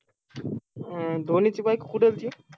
अं धोनीची बायको कुठे होती?